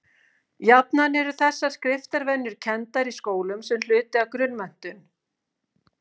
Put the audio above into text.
Jafnan eru þessar skriftarvenjur kenndar í skólum sem hluti af grunnmenntun.